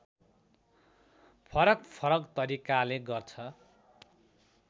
फरकफरक तरिकाले गर्छ